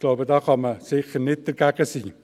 Ich glaube, da kann man sicher nicht dagegen sein.